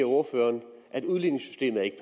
ordføreren at udligningssystemet ikke